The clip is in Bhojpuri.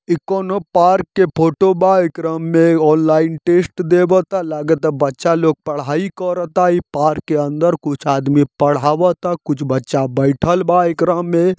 इ कोनों पार्क के फोटो बा एकरा मे ऑनलाइन टेस्ट देबत ता लागत ता बच्चा लोग पढ़ाई करत ता इ पार्क के अंदर कुछ आदमी पढ़ावता कुछ बच्चा बैठल बा एकरा मे।